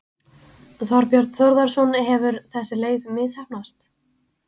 Þorbjörn Þórðarson: Hefur þessi leið misheppnast?